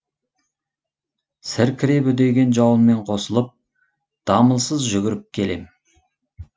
сіркіреп үдеген жауынмен қосылып дамылсыз жүгіріп келем